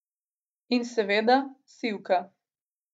In seveda sivka.